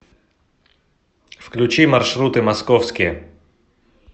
включи маршруты московские